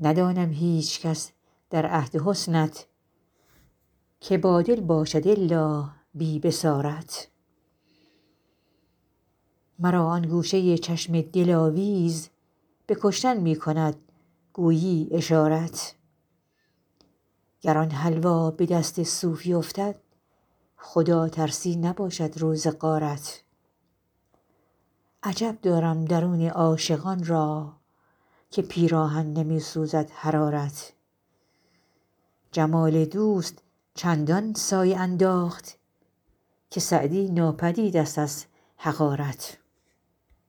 ندانم هیچکس در عهد حسنت که بادل باشد الا بی بصارت مرا آن گوشه چشم دلاویز به کشتن می کند گویی اشارت گر آن حلوا به دست صوفی افتد خداترسی نباشد روز غارت عجب دارم درون عاشقان را که پیراهن نمی سوزد حرارت جمال دوست چندان سایه انداخت که سعدی ناپدید ست از حقارت